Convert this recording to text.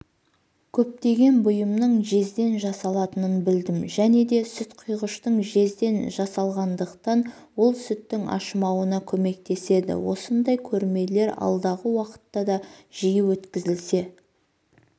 көптеген бұйымның жезден жасалатынын білдім және де сүтқұйғыштың жезден жасалғандықтан ол сүттің ашымауына көмектеседі осындай көрмелер алдағы уақытта да жиі өткізілсе